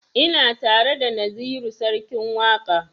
Ina tare da naziru sarkin waƙa